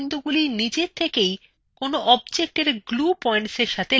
যেগুলির প্রান্তবিন্দুগুলি নিজে থাকেই